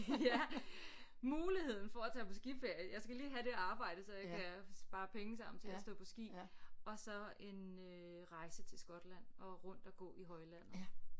Ja muligheden for at tage på skiferie jeg skal lige have det arbejde så jeg kan spare penge sammen til at stå på ski og så en øh rejse til Skotland og rundt og gå i højlandet